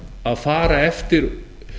að fara eftir